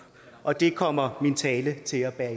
og det kommer min tale til at bære